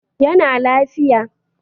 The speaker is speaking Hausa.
Ya na lafiya